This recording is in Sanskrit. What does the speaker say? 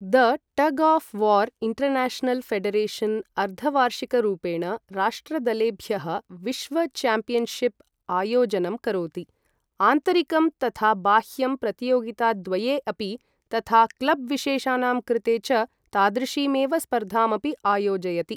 The tug of war international federation अर्धवार्षिकरूपेण राष्ट्रदलेभ्यः विश्व च्याम्पियन्शिप् आयोजनं करोति, आन्तरिकं तथा बाह्यं प्रतियोगिताद्वये अपि, तथा क्लब् विशेषानां कृते च तादृशीमेव स्पर्धामपि आयोजयति।